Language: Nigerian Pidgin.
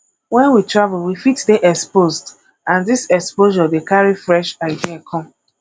when we travel we fit dey exposed and this exposure dey carry fresh idea come